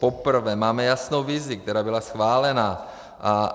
Poprvé máme jasnou vizi, která byla schválena.